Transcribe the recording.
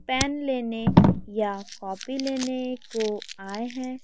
Pen लेने या copy लेने को आए हैं।